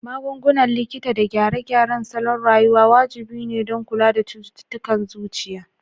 Magungunan likita da gyare-gyaren salon rayuwa wajibi ne don kula da cututtukan zuciya.